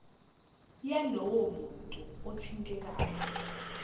yalowo muntu othintekayo